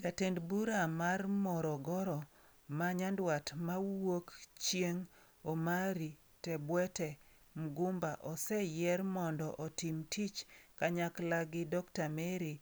Jatend bura mar Morogoro ma nyandwat ma wuok chieng' Omary Tebwete Mgumba oseyier mondo otim tich kanyakla gi Dr. Mary